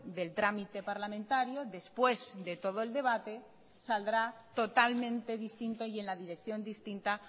del trámite parlamentario después de todo el debate saldrá totalmente distinto y en la dirección distinta